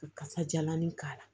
Kasajalan in k'a la